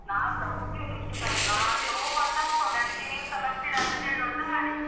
ನಾನ್ಸ ಹೋಗ್ಲಿಲ್ಲ ಇಷ್ಟೋತನಕ. ಅದೇ ಹೋಗ್ವಾ ಅಂತ ಅಂದ್ಕೊಂಡೆ ಅದಕ್ಕೆ ನೀವುಸ ಬರ್ತೀರಾ ಅಂತ ಕೇಳುವ ಅಂತ ಮಾಡಿದ್ದು.